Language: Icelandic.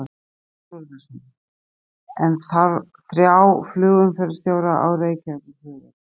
Þorbjörn Þórðarson: En þarf þrjá flugumferðarstjóra á Reykjavíkurflugvelli?